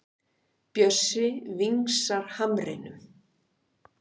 Bjössi vingsar hamrinum.